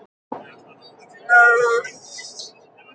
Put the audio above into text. Árný fékk næstum taugaáfall við þessa sjón.